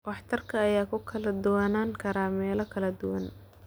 Waxtarka ayaa ku kala duwanaan kara meelo kala duwan.